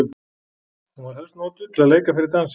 Hún var helst notuð til að leika fyrir dansi.